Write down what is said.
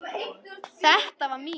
Þetta var mín.